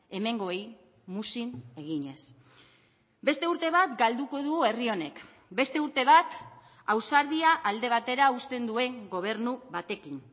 hemengoei muzin eginez beste urte bat galduko du herri honek beste urte bat ausardia alde batera uzten duen gobernu batekin